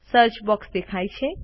search box દેખાય છે